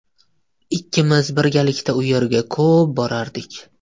Ikkimiz birgalikda u yerga ko‘p borardik.